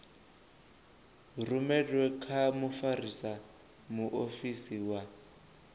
rumelwe kha mfarisa muofisiri wa